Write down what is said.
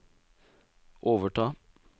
overta